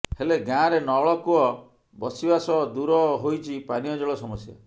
ହେଲେ ଗାଁରେ ନଳକୂଅ ବସିବା ସହ ଦୂର ହୋଇଛି ପାନୀୟ ଜଳ ସମସ୍ୟା